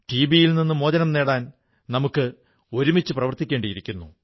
TB യിൽ നിന്ന് മോചനം നേടാൻ നമുക്ക് ഒരുമിച്ച് പ്രവർത്തിക്കേണ്ടിയിരിക്കുന്നു